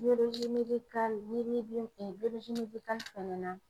n'i bɛ fɛnɛ na